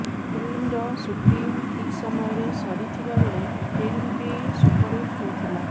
ଫିଲ୍ମର ସୁଟିଂ ଠିକ୍ ସମୟରେ ସରିଥିବା ବେଳେ ଫିଲ୍ମଟି ବି ସୁପରହିଟ୍ ହୋଇଥିଲା